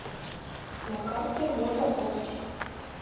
на карте мода оптик